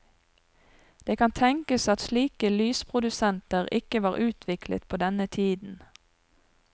Det kan tenkes at slike lysprodusenter ikke var utviklet på denne tiden.